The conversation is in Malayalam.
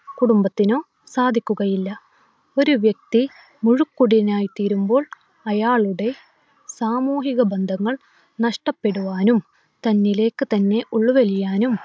കുടുംബത്തിനോ സാധിക്കുകയില്ല. ഒരു വ്യക്തി മുഴുകുടിയനായി തീരുമ്പോൾ അയാളുടെ സാമൂഹിക ബന്ധങ്ങൾ നഷ്ടപ്പെടുവാനും തന്നിലേക്ക് തന്നെ ഉൾവലിയുവാനും